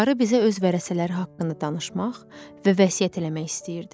Qarı bizə öz vərəsələri haqqında danışmaq və vəsiyyət eləmək istəyirdi.